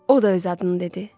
O da öz adını dedi.